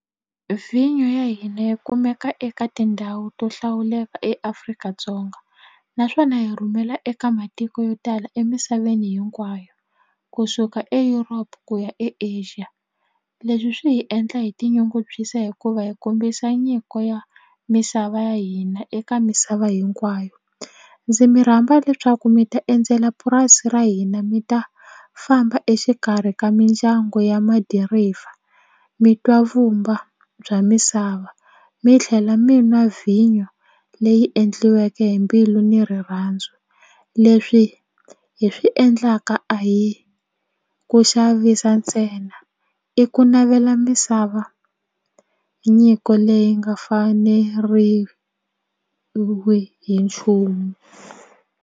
Vinyo ya hina yi kumeka eka tindhawu to hlawuleka eAfrika-Dzonga naswona hi rhumela eka matiko yo tala emisaveni hinkwayo kusuka Europe ku ya eAsia leswi swi hi endla hi tinyungubyisa hikuva hi kombisa nyiko ya misava ya hina eka misava hinkwayo ndzi mirhamba leswaku mi ta endzela purasi ra hina mi ta famba exikarhi ka mindyangu ya ma dirayivha mitwa mavumba bya misava mi tlhela mi n'wa vhinyo leyi endliweke hi mbilu ni rirhandzu leswi hi swi endlaka a hi ku xavisa ntsena i ku navela misava nyiko leyi nga faneriwi hi nchumu.